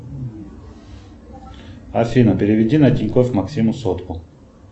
афина переведи на тинькофф максиму сотку